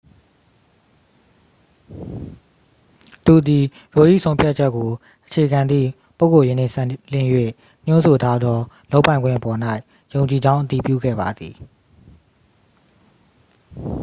သူသည် roe ၏ဆုံးဖြတ်ချက်ကိုအခြေခံသည့် ပုဂ္ဂိုလ်ရေးနှင့်စပ်လျဉ်း၍ ညွှန်းဆိုထားသောလုပ်ပိုင်ခွင့်ပေါ်၌ ယုံကြည်ကြောင်း အတည်ပြုခဲ့ပါသည်